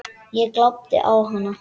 Ég glápti á hana.